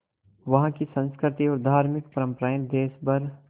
वहाँ की संस्कृति और धार्मिक परम्पराएं देश भर